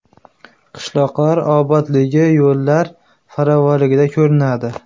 Qishloqlar obodligi yo‘llar ravonligida ham ko‘rinadi.